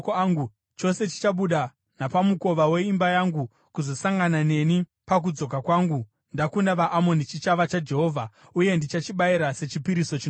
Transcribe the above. chose chichabuda napamukova weimba yangu kuzosangana neni pakudzoka kwangu ndakunda vaAmoni, chichava chaJehovha, uye ndichachibayira sechipiriso chinopiswa.”